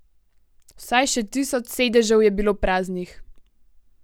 Vsaj še tisoč sedežev je bilo praznih ...